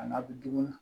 A n'a bɛ du kɔnɔ